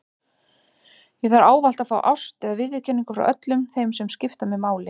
Ég þarf ávallt að fá ást eða viðurkenningu frá öllum þeim sem skipta mig máli.